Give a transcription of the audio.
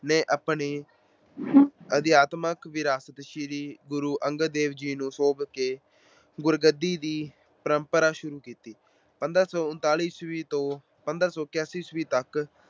ਨੇ ਆਪਣੀ ਅਧਿਆਤਮਕ ਵਿਰਾਸਤ ਸ੍ਰੀ ਗੁਰੂ ਅੰਗਦ ਦੇਵ ਜੀ ਨੂੰ ਸੌਂਪ ਕੇ ਗੱਦੀ ਦੀ ਪਰੰਪਰਾ ਸ਼ੁਰੂ ਕੀਤੀ। ਪੰਦਰਾਂ ਸੌ ਉਨਤਾਲੀ ਈਸਵੀ ਤੋਂ ਪੰਦਰਾਂ ਸੌ ਇਕਾਸੀ ਈਸਵੀ ਤੱਕ